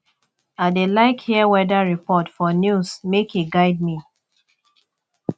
i dey like hear weather report for news make e guide me